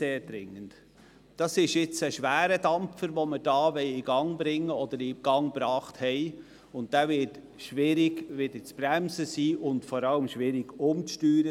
Es handelt sich hier um einen schweren Dampfer, der in Bewegung gekommen ist, und es wird schwierig sein, ihn wieder zu bremsen oder zu steuern.